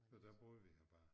Og der boede vi her bare